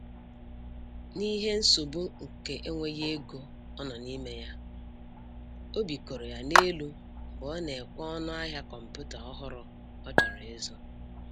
N'ihe nsogbu nke enweghị ego ọ n'ime ya, obi koro ya n'elu mgbe ọ na-ekwe ọnụ ahịa kọmputa ọhụrụ ọ chọrọ ịzụ